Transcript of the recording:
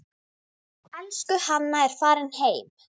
Elsku Hanna er farin heim.